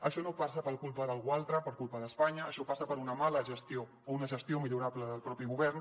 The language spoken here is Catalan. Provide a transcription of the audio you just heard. això no passa per culpa d’algú altre per culpa d’espanya això passa per una mala gestió o una gestió millorable del propi govern